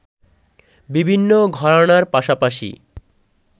বিভিন্ন ঘরানার পাশাপাশি